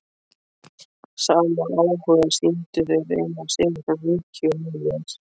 Sama áhuga sýndu þeir Einar Sigurðsson ríki og Elías